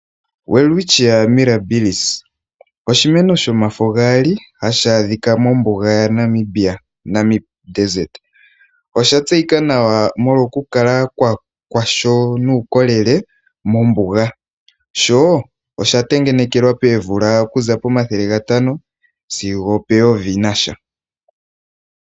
Welwitchia birabillis oshimeno shomafo gaali hashi adhika mombuga yaNamibia, Namib desert. Osha tseyika nawa molwa okukala kwa sho nuukolele mombuga, sho osha tengenekelwa poomvula okuza pomathele gatano sigo opeyovi nasha.